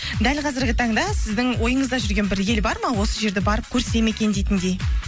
дәл қазіргі таңда сіздің ойыңызда жүрген бір ел бар ма осы жерді барып көрсем екен дейтіндей